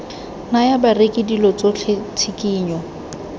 naya bareki dilo tsotlhe tshikinyo